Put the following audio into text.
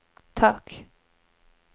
tak